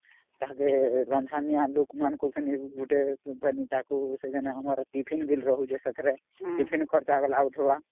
ଅମ୍ଟିଫିନ ଖର୍ଚ୍ଚ ଅମ୍